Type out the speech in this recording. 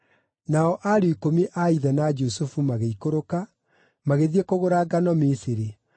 Nao ariũ ikũmi a ithe na Jusufu magĩikũrũka, magĩthiĩ kũgũra ngano Misiri.